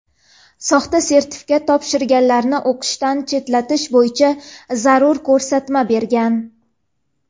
soxta sertifikat topshirganlarni o‘qishdan chetlatish bo‘yicha zarur ko‘rsatma bergan.